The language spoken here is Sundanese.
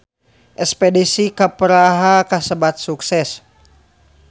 Espedisi ka Praha kasebat sukses